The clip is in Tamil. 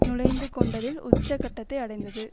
நுழைந்து கொண்டதில் உச்ச கட்டத்தை அடைந்தது